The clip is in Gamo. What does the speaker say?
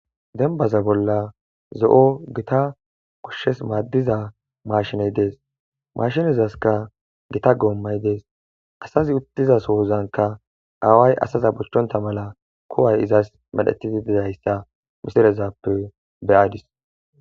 Dembbaza bolla zo7o gita goshshas maadiza maashiney dees de7ees maashinezaska gita goomay de7ees. Asazi izs sohon dizasoka away izeta bochchontta mala kuway izas medhetidi dizayssa misileza bolla be7adis.